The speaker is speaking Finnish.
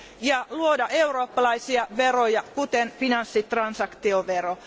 ja luoda eurooppalaisia veroja kuten finanssitransaktiovero.